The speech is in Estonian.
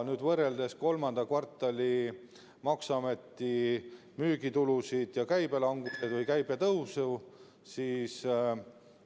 Kui võrrelda nüüd maksuameti andmeid kolmanda kvartali müügitulu ja käibe languse või käibe tõusu kohta, siis